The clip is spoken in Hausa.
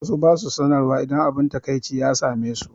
Wasu ba su sanarwa idan abun takaici ya same su.